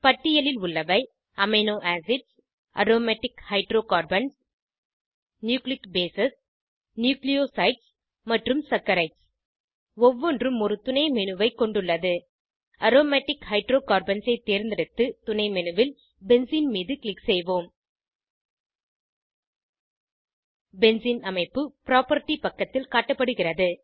பட்டியலில் உள்ளவை amino acids aromatic hydrocarbons nucleic base nucleosides மற்றும் சாக்கரைட்ஸ் ஒவ்வொன்றும் ஒரு துணைmenu ஐ கொண்டுள்ளது அரோமேட்டிக் ஹைட்ரோகார்பன்ஸ் ஐ தேர்ந்தெடுத்து துணைmenu ல் பென்சீன் மீது க்ளிக் செய்வோம் பென்சீன் அமைப்பு புராப்பர்ட்டி பக்கத்தில் காட்டப்படுகிறது